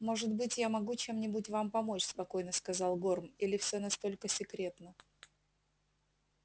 может быть я могу чем-нибудь вам помочь спокойно сказал горм или всё настолько секретно